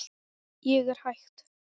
Ég er hætt.